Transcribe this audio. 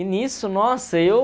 E nisso, nossa, eu...